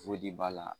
b'a la